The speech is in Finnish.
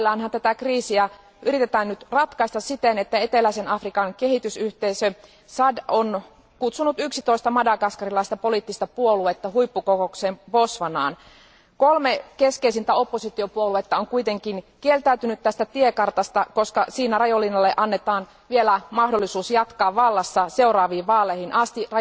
Tätä kriisiä yritetään parhaillaan ratkaista siten, että eteläisen Afrikan kehitysyhteisö SADC on kutsunut 11 madagaskarilaista poliittista puoluetta huippukokoukseen Botswanaan. Kolme keskeisintä oppositiopuoluetta on kuitenkin kieltäytynyt tästä tiekartasta, koska siinä Rajoelinalle annetaan vielä mahdollisuus jatkaa vallassa seuraaviin vaaleihin asti.